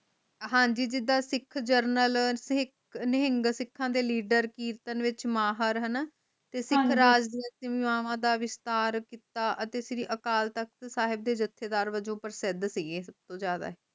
ਹਾਂਜੀ ਜਿਦਾ ਸਿੱਖ ਜਰਨੈਲ ਨਿਹੰਗ ਸਿੱਖਾਂ leader ਹਣਾ ਸਿੱਖ ਰਾਜ ਦਾ ਵਿਸਤਾਰ ਕੀਤਾ ਅਤੇ ਸ਼੍ਰੀ ਅਕਾਲ ਤਖ਼ਤ ਦੇ ਜਸੇਡਾਰ ਜੇਦੇ ਪ੍ਰਸਿੱਧ ਸੀਗੇ